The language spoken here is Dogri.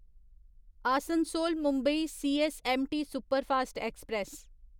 Asansol Mumbai CSMT superfast express